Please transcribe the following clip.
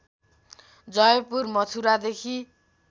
Jaipur मथुरादेखि